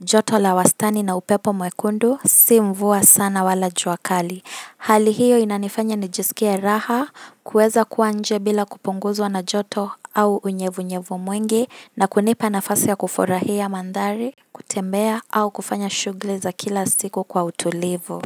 joto la wastani na upepo mwekundu, si mvua sana wala jua kali. Hali hiyo inanifanya nijisikie raha, kuweza kuwa nje bila kupunguzwa na joto au unyevunyevu mwingi, na kunipa nafasi ya kufurahia mandhari, kutembea au kufanya shughuli za kila siku kwa utulivu.